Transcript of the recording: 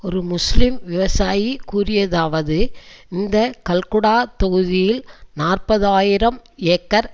ஒரு முஸ்லிம் விவசாயி கூறியதாவது இந்த கல்குடா தொகுதியில் நாற்பது ஆயிரம் ஏக்கர்